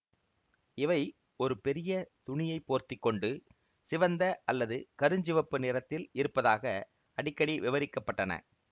இவை ஒரு பெரிய துணியைப் போர்த்தி கொண்டு சிவந்த அல்லது கருஞ்சிவப்பு நிறத்தில் இருப்பதாக அடிக்கடி விவரிக்கப்பட்டன